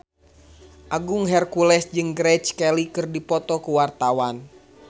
Agung Hercules jeung Grace Kelly keur dipoto ku wartawan